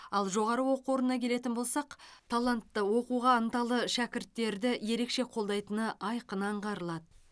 ал жоғары оқу орнына келетін болсақ талантты оқуға ынталы шәкірттерді ерекше қолдайтыны айқын аңғарылады